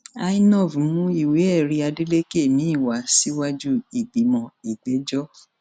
inov mú ìwéẹrí adeleke miín wá síwájú ìgbìmọ ìgbẹjọ